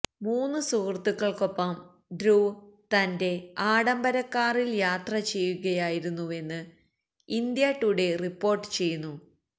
മൂന്നു സുഹൃത്തുക്കള്ക്കൊപ്പം ധ്രുവ് തന്റെ ആഢംബര കാറില് യാത്ര ചെയ്യുകയായിരുന്നുവെന്ന് ഇന്ത്യാ ടുഡേ റിപ്പോര്ട്ട് ചെയ്യുന്നു